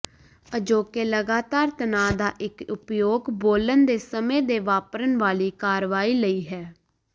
ਅਜੋਕੇ ਲਗਾਤਾਰ ਤਣਾਅ ਦਾ ਇੱਕ ਉਪਯੋਗ ਬੋਲਣ ਦੇ ਸਮੇਂ ਦੇ ਵਾਪਰਨ ਵਾਲੀ ਕਾਰਵਾਈ ਲਈ ਹੈ